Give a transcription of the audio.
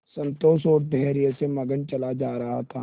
संतोष और धैर्य में मगन चला जा रहा था